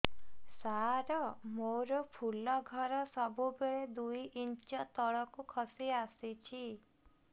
ସାର ମୋର ଫୁଲ ଘର ସବୁ ବେଳେ ଦୁଇ ଇଞ୍ଚ ତଳକୁ ଖସି ଆସିଛି